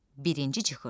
Birinci cıxış.